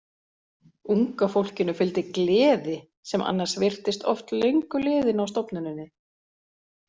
Unga fólkinu fylgdi gleði sem annars virtist oft löngu liðin á stofnuninni.